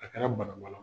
A kɛra bana bala